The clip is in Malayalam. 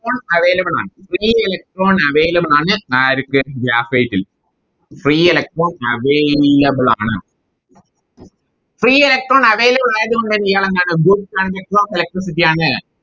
Electron available ആണ് Free electron available ആണ് ആർക്ക് Graphite ൽ Free electron available ആണ് Free electron available ആയതുകൊണ്ട് തന്നെ ഇയാളെന്താണ് Good conductor ofElectricity ആണ്